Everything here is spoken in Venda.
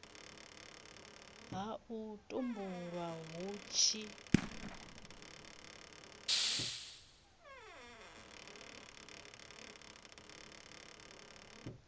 ha u tumbulwa hu tshi